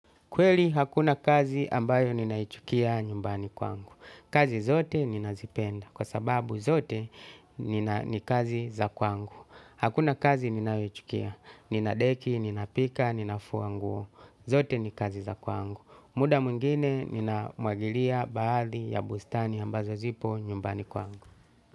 Kweli hakuna kazi ambayo ninaichukia nyumbani kwangu. Kazi zote ninazipenda kwa sababu zote ni kazi za kwangu. Hakuna kazi ninaichukia, ninadeki, ninapika, ninafuanguo. Zote ni kazi za kwangu. Muda mungine ninamwagilia baadhi ya bustani ambazo zipo nyumbani kwangu.